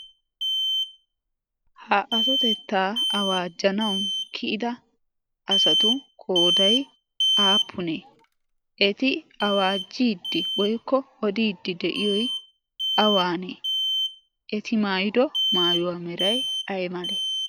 ha atotettaa awaajjanawu kiyida asatu kooday aappunee? Eti awaajiiddi woykko odiiddi de'iyoy awaanee? eti maayido maayuwaa meray ay male?